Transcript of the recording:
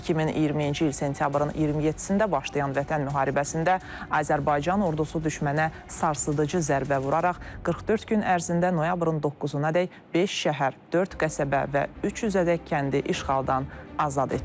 2020-ci il sentyabrın 27-də başlayan Vətən müharibəsində Azərbaycan ordusu düşmənə sarsıdıcı zərbə vuraraq 44 gün ərzində noyabrın 9-adək beş şəhər, dörd qəsəbə və 300-ədək kəndi işğaldan azad etdi.